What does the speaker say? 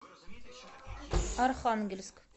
архангельск